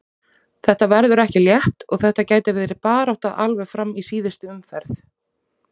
Þetta verður ekki létt og þetta gæti verið barátta alveg fram í síðustu umferð.